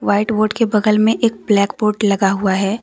White board के बगल में एक ब्लैक बोर्ड लगा हुआ है।